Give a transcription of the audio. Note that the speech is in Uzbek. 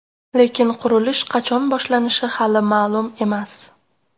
Lekin qurilish qachon boshlanishi hali ma’lum emas.